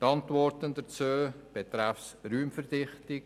Zur Antwort betreffend die Raumverdichtung: